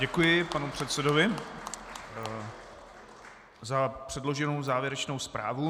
Děkuji panu předsedovi za předloženou závěrečnou zprávu.